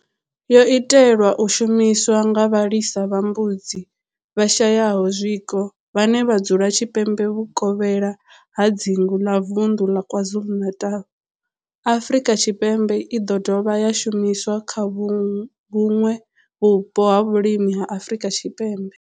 Yo itelwa u shumiswa nga vhalisa vha mbudzi vhashayaho zwiko vhane vha dzula tshipembe vhuvokhela ha dzingu la vunḓu ḽa KwaZulu-Natal, Afrika Tshipembe i do dovha ya shumiswa kha vhuṋwe vhupo ha vhulimi ha Afrika Tshipembe.